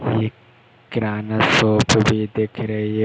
एक किराना शॉप भी दिख रही है।